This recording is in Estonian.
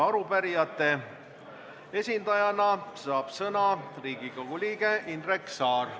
Arupärijate esindajana saab sõna Riigikogu liige Indrek Saar.